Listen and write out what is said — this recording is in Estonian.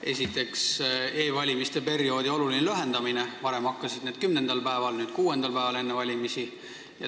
Esiteks, e-valimiste perioodi oluline lühendamine, varem hakkasid need kümnendal päeval, nüüd hakkavad kuuendal päeval enne valimisi.